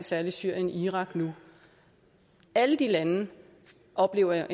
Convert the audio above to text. særlig syrien irak nu alle de lande oplever